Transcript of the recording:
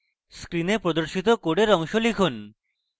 screen প্রদর্শিত code অংশ লিখুন